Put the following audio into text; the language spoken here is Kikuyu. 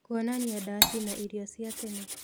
kuonania ndaci na irio cia tene.